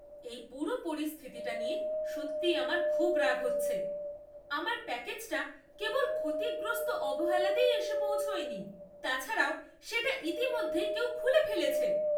এই পুরো পরিস্থিতিটা নিয়ে সত্যিই আমার খুব রাগ হচ্ছে । আমার প্যাকেজটা কেবল ক্ষতিগ্রস্ত অবহেলাতেই এসে পৌঁছয়নি, তাছাড়াও সেটা ইতিমধ্যেই কেউ খুলে ফেলেছে!